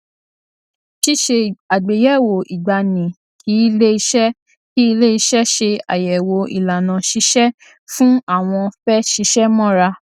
ṣíṣe àgbéyèwò ìgbani kí ilé iṣẹ kí ilé iṣẹ ṣe àyèwò ìlànà ṣíṣẹ fún àwọn fẹ ṣiṣẹ mọra